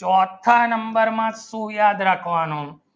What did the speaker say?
ચોથા number માં શું યાદ રાખવાનું